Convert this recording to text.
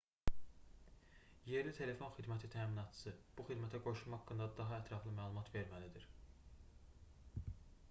yerli telefon xidməti təminatçısı bu xidmətə qoşulma haqqında daha ətraflı məlumat verməlidir